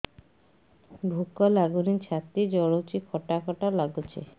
ଭୁକ ଲାଗୁନି ଛାତି ଜଳୁଛି ଖଟା ଖଟା ଲାଗୁଛି